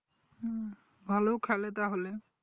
ভালো খেলে তাহলে